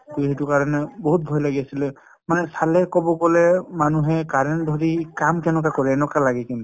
টো সেইটো কাৰণে বহুত ভয় লাগি আছিলে। মানে চালে কব গলে মানুহে current ধৰি কাম কেনেকৈ কৰে এনেকুৱা লাগে কিন্তু ।